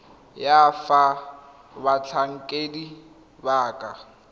ya fa batlhankedi ba ka